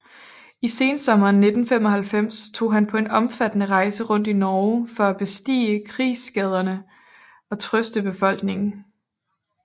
I sensommeren 1945 tog han på en omfattende rejse rundt i Norge for at besigtige krigsskaderne og trøste befolkningen